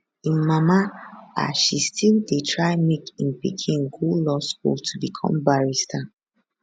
im mama as she still dey try make im pikin go law school to become barrister